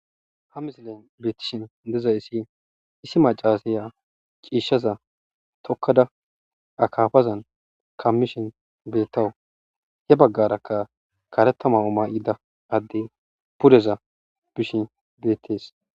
ha misilayn beettishin dezayissi issi macaasiya ciishshaza tokkada akafazan kammishin beettawu hee baggarakka karetta ma'o maa'ida adde pudeza bishin deettes